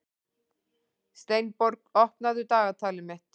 Steinborg, opnaðu dagatalið mitt.